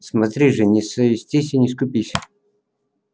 смотри же не совестись и не скупись